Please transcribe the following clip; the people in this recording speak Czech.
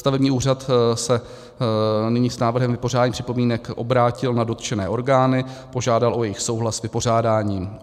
Stavební úřad se nyní s návrhem vypořádání připomínek obrátil na dotčené orgány, požádal o jejich souhlas s vypořádáním.